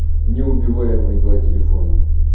неубиваемые два телефона